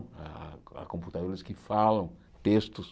Há há computadores que falam textos.